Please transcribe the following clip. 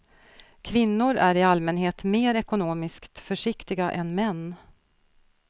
Kvinnor är i allmänhet mer ekonomiskt försiktiga än män.